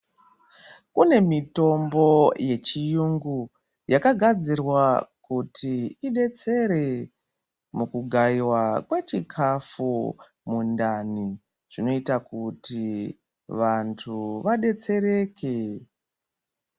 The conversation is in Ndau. Kune mitombo yechiyungu yakagadzirwa kuti idetsere mukugaiwa kwechikafu mundani zvinoita kuti vantu vadetsereke.